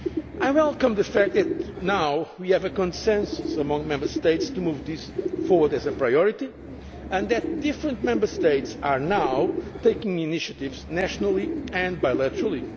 Spain. I welcome the fact that now we have a consensus among Member States to move this forward as a priority and that different Member States are now taking initiatives nationally and bilaterally.